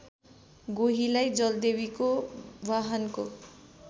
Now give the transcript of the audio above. गोहीलाई जलदेवीको वाहनको